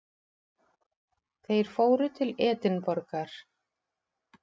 Þeir fóru til Edinborgar.